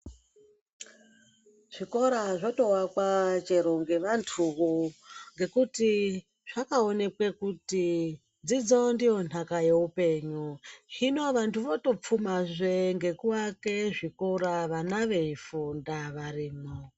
Zvikora zvotovakwa chero nevantuvo ngekuti zvakaonekwa kuti dzidzo ndiyo nhaka yeupenyu. Zvino vantu votopfumazve ngekuvake zvikora vana veifunda varimwo.